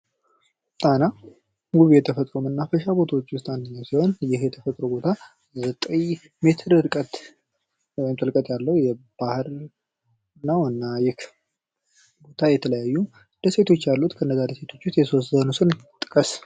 ጣና ዉብ የተፈጥሮ መናፈሻዎች ዉስጥ አንዱ ሲሆን፤ ይህ የተፈጥሮ መናፈሻ ዘጠኝ ሜትር ርቀት ያለው ባህር ነው እና የተለያዩ ደሴቶች አሉት። ከነዛ ደሴቶች ዉስጥ የተወሰኑትን ጥቀስ?